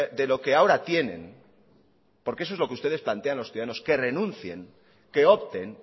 de lo que ahora tienen porque eso es lo que ustedes plantean a los ciudadanos que renuncien que opten